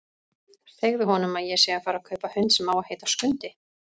Segðu honum að ég sé að fara að kaupa hund sem á að heita Skundi!